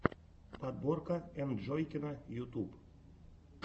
подборка энджойкина ютуб